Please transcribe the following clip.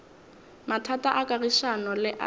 mathata a kagišano le a